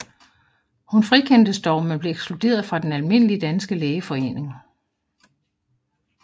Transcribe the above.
Hun frikendtes dog men blev ekskluderet fra Den Almindelige Danske Lægeforening